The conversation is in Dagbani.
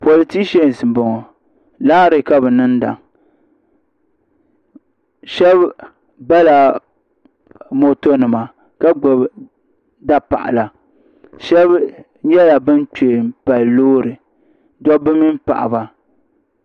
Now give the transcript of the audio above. politishɛns n bɔŋɔ raali ka bi niŋda shab bala moto nima ka gbubi da paɣala shab nyɛla bin kpɛ n pali loori dabba mini paɣaba